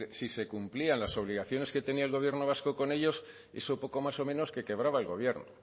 si se cumplían las obligaciones que tenía el gobierno vasco con ellos eso poco más o menos que quebraba el gobierno